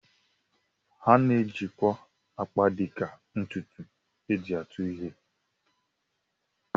A na-ejikwa akpa dịka ntụtụ e ji atụ ihe